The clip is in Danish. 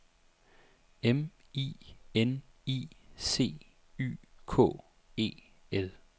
M I N I C Y K E L